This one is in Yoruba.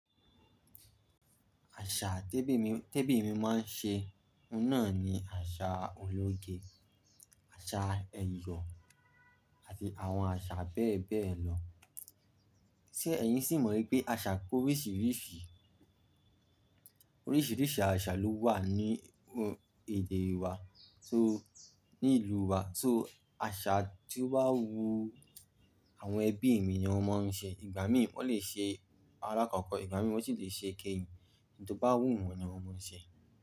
Àṣà tẹ́bí mi, tẹ́bí mi máa ń ṣe náà ni àṣà ológe, àṣà ẹyọ àti àwọn àṣà bẹ́ẹ̀ bẹ́ẹ̀ lọ. Sé ẹ̀yin sì mọ̀ wípé àṣà pe oríṣìríṣì, oríṣìríṣì àṣà ló wà ní èdè wa, so ní ìlú u wa, so àṣà ti ó bá wu àwọn ẹbí mi ni wón máa ń ṣe. Ìgbà mí ì wón lè ṣe alákọ̀kọ́, ìgbà mì wón sì lè ṣe ikẹ́yìn. Ohun tó bá wù wọ́n ni wón máa ń ṣe.